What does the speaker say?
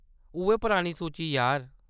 उʼऐ पुरानी सूची, यार।